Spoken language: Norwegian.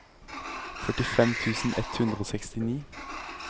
førtifem tusen ett hundre og sekstini